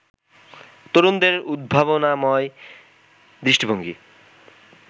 তরুণদের উদ্ভাবনাময় দৃষ্টিভঙ্গি